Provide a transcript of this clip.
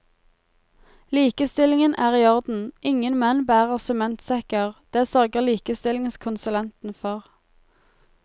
Likestillingen er i orden, ingen menn bærer sementsekker, det sørger likestillingskonsulenten for.